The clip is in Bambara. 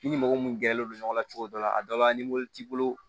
I ni mɔgɔ mun gɛrɛlen don ɲɔgɔn na cogo dɔ la a dɔ la ni mo t'i bolo